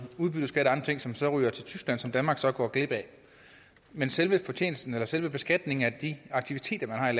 udbytteskat og ting som så ryger til tyskland og som danmark så går glip af men selve fortjenesten eller selve beskatningen af de aktiviteter man har